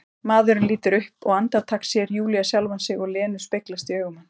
Maðurinn lítur upp og andartak sér Júlía sjálfa sig og Lenu speglast í augum hans.